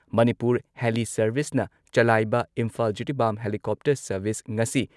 Manipur heli ꯁꯔꯚꯤꯁꯅ ꯆꯂꯥꯏꯕ Imphal Jiribam helicopter service ꯉꯁꯤ